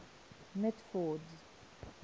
mitford's